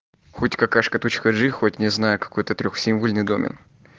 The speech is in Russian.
путь какашка точка джи хоть не знаю какой-то символьный домен